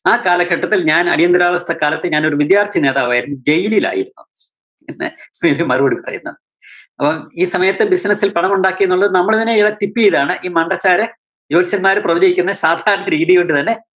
ആ കാലഘട്ടത്തില്‍ ഞാന്‍ അടിയന്താവസ്ഥ കാലത്ത് ഞാന്‍ ഒരു വിദ്യാര്‍ത്ഥി നേതാവായിരുന്നു, ജയിലില്‍ ആയിരുന്നു എന്ന്. പിന്നെ മറുപടി പറയുന്ന അപ്പം ഈ സമയത്ത് business ല്‍ പണം ഉണ്ടാക്കി എന്നുള്ളത് നമ്മള് തന്നെ ഇയാളെ ചെയ്തതാണ്. ഈ മണ്ടച്ചാര് ജോത്സ്യന്മാര് പ്രവചിക്കുന്ന രീതികൊണ്ട് തന്നെ